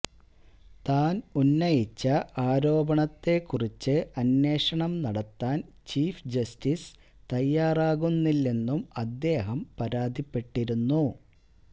താന് ഉന്നയിച്ച ആരോപണത്തെക്കുറിച്ച് അന്വേഷണം നടത്താന് ചീഫ് ജസ്റ്റിസ് തയ്യാറാകുന്നില്ലെന്നും അദ്ദേഹം പരാതിപ്പെട്ടിരുന്നു